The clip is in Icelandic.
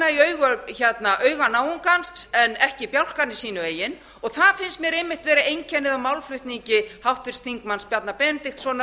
í auga náungans en ekki bjálkann í sínu eigin og það finnst mér einmitt vera einkennið á málflutningi háttvirts þingmanns bjarna benediktssonar